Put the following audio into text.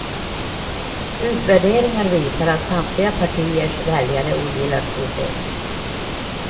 Utvärderingar visar att samtliga partiers väljare ogillar systemet.